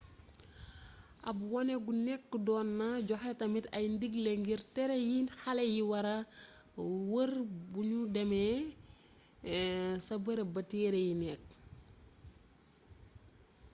ab woone gu nekk doon na joxe tamit ay ndigle ngir téere yi xale yi wara wër bu ñu demee ca bërëb ba téeree yi nekk